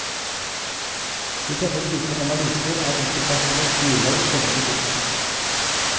I denne typen analyser er enkeltpersoners bidrag sjelden i fokus.